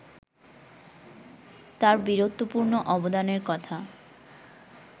তার বীরত্বপূর্ণ অবদানের কথা